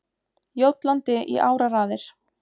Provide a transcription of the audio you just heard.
Jótlandi í áraraðir.